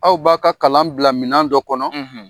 Aw b'a ka kalan bila minan dɔ kɔnɔ